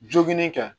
Joginin kan